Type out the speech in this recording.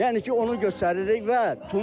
Yəni ki, onu göstəririk